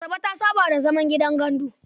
Asabe ta saba da zaman gidan gandu.